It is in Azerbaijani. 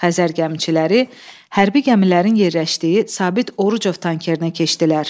Xəzər gəmiçiləri hərbi gəmilərin yerləşdiyi Sabit Orucov tankerininə keçdilər.